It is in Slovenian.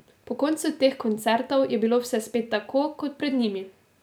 Po koncu teh koncertov je bilo vse spet tako, kot pred njimi.